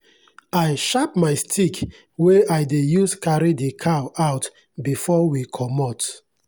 i sharp my stick wey i dey use carry the cow out before we comot.